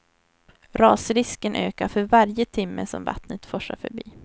Rasrisken ökar för varje timme som vattnet forsar förbi.